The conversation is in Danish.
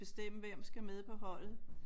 Bestemme hvem skal med på holdet